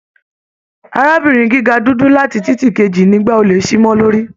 Arábìnrin gíga dúdú láti titi keji nígba olè sí mọ lórí